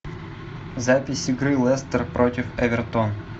запись игры лестер против эвертон